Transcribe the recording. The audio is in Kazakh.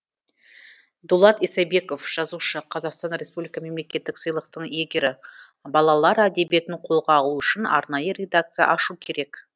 дулат исабеков жазушы қазақстан республика мемлекеттік сыйлықтың иегері балалар әдебиетін қолға алу үшін арнайы редакция ашу керек